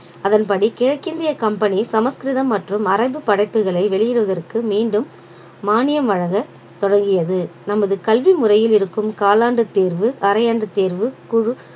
அதன்படி கிழக்கிந்திய company சமஸ்கிருதம் மற்றும் மரபு படைப்புகளை வெளியிடுவதற்கு மீண்டும் மானியம் வழங்க தொடங்கியது நமது கல்வி முறையில் இருக்கும் காலாண்டு தேர்வு அரையாண்டு தேர்வு குழு